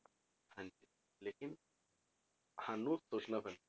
ਲੇਕਿੰਨ ਸਾਨੂੰ ਸੋਚਣਾ ਪੈਣਾ,